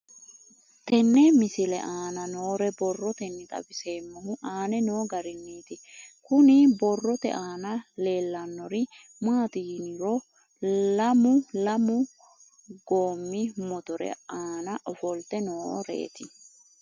Tenne misile aana noore borroteni xawiseemohu aane noo gariniiti. Kunni borrote aana leelanori maati yiniro lamu lamu goomi mootore aana ofoolte nooreeti.